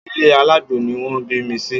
Ilé alágbo ni wọ́n bí mi sí